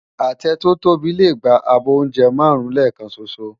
Atẹ tò tóbi lé gbá ábò óùnjè márùn lèkán ṣóṣó